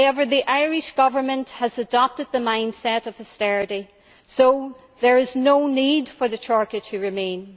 The Irish Government has now adopted the mind set of austerity, so there is no need for the Troika to remain.